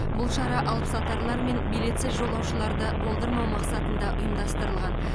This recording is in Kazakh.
бұл шара алыпсатарлар мен билетсіз жолаушыларды болдырмау мақсатында ұйымдастырылған